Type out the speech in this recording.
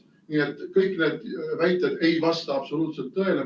Nii et kõik need väited ei vasta absoluutselt tõele.